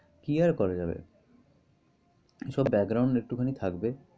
কি আর করা যাবে। সব একটু খানি থাকবে।